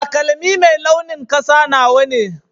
Taƙalmi mai launin ƙasa nawa ne.